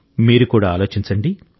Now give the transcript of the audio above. మీరు కూడా ఆలోచించండి